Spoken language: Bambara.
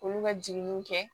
Olu ka jiginniw kɛ